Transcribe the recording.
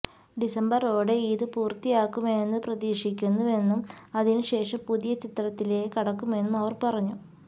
ഡിസംബറോടെ ഇത് പൂര്ത്തിയാകുമെന്നു പ്രതീക്ഷിക്കുന്നുവെന്നും അതിനു ശേഷം പുതിയ ചിത്രത്തിലേക്ക് കടക്കുമെന്നും അവർ പറഞ്ഞു